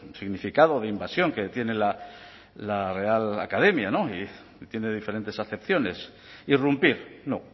significado de invasión que tiene la real academia tiene diferentes acepciones irrumpir no